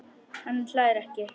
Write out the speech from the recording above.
Hann hlær ekki.